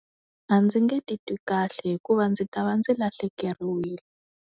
A ndzi nge titwi kahle hikuva ndzi ta va ndzi lahlekeriwile.